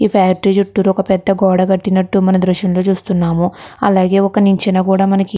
ఈ ఫ్యాక్టరీ చుట్టూపెద్ద గోడ కట్టినట్టు మనం ఈ దృశ్యం లో చూస్తున్నాము అలాగే ఒక నిచ్చెన కూడా మనకి --